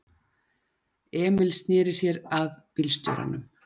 Emil sneri sér að bílstjóranum.